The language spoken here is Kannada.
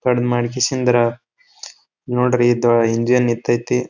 ಕಡ್ಮಿ ಮಾಡಕಿಸಂದ್ರ ನೋಡ್ರಿ ಇದ ಹಿಂಗ ನಿಂತೈತಿ.